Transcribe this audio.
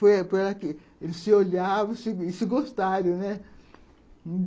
Foi ela que... Eles se olhavam e se e se gostaram, né?